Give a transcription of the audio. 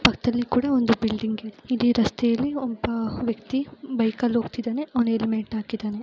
ಪಕ್ಕದಲ್ಲಿ ಕೂಡ ಒಂದು ಬಿಲ್ಡಿಂಗ್ ಇದೆ ಇಡೀ ರಸ್ತೆಯಲ್ಲಿ ಒಬ್ಬ ವ್ಯಕ್ತಿ ಬೈಕ್ ಅಲ್ಲಿ ಹೋಗ್ತಾಯಿದಾನೆ ಅವನು ಹೆಲ್ಮೆಟ್ ಹಾಕಿದಾನೆ .